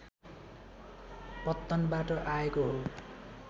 पत्तनबाट आएको हो